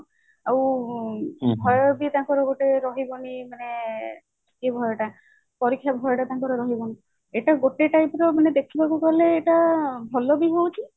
ଆଉ ଭୟ ବି ତାଙ୍କର ଗୋଟେ ରହିବନି ମାନେ ଏଇ ଭୟ ଟା ପରୀକ୍ଷା ଭୟ ଟା ତାଙ୍କର ରହିବନି ଏଇଟା ଗୋଟେ type ର ମାନେ ଦେଖିବାକୁ ଗଲେ ଏଇଟା ଭଲ ବି ହଉଛି